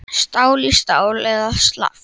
Stál í stál eða slappt?